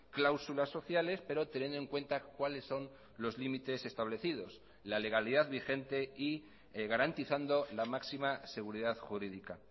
cláusulas sociales pero teniendo en cuenta cuáles son los límites establecidos la legalidad vigente y garantizando la máxima seguridad jurídica